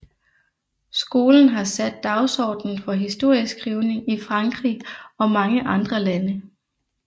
Skolen har sat dagsordenen for historieskrivning i Frankrig og mange andre lande